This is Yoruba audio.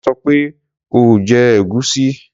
Wón sọ pé o ò jẹ ẹ̀gúsí.